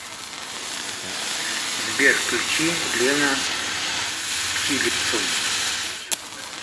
сбер включи лена филипсон